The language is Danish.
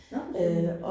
Nåh for Søren